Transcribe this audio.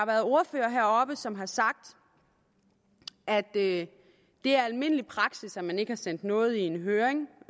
været ordførere heroppe som har sagt at det er almindelig praksis at man ikke har sendt noget i en høring